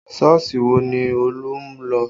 Sọ́ọ̀sì wo ni Olú ń lọ?